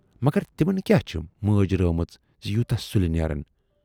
مگر تِمَن کیاہ چھے مٲج رٲومٕژ زِ یوٗتاہ سُلہِ نیرن۔